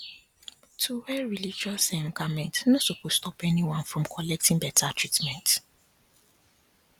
to wear religious um garment no supose stop anyone from collecting better treatment